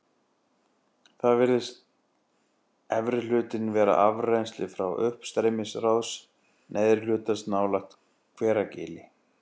Þannig virðist efri hlutinn vera afrennsli frá uppstreymisrás neðri hlutans nálægt Hveragili.